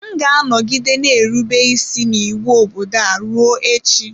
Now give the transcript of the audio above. M ga-anọgide na-erube isi n'iwu obodo a ruo echi.